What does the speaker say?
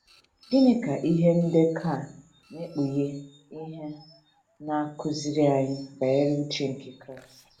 Gịnị ka ihe ndekọ a na - ekpughe ihe na - akụziri anyị banyere uche nke Kraịst?